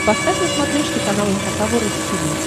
поставь на смотрешке канал эн эйч кей волд ти ви